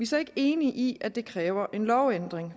så ikke enige i at det kræver en lovændring